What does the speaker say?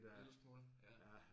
En lille smule ja